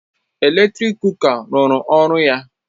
Eletrik kuka ruru ọrụ ya